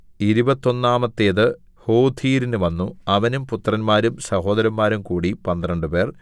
ഇരുപത്തൊന്നാമത്തേത് ഹോഥീരിന് വന്നു അവനും പുത്രന്മാരും സഹോദരന്മാരും കൂടി പന്ത്രണ്ടുപേർ